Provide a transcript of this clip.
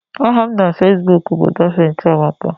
Aha m na Facebook bụ Daphne Chiamaka